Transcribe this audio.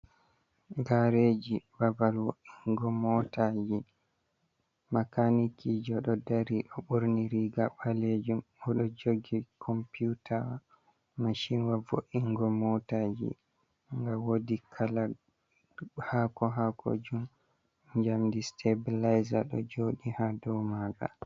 Gareji babal wo’ingo motaji, makaniki jo ɗo dari ɗo ɓorni riga ɓaleejum o ɗo jogi computaa, mashin wa vo’ingo motaji, nga woodi kala hako-hako jum jamdi sitapileza ɗo jooɗii haa ɗo maanga.